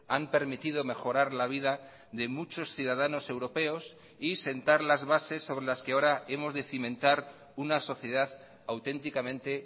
han permitido mejorar la vida de muchos ciudadanos europeos y sentar las bases sobre las que ahora hemos de cimentar una sociedad auténticamente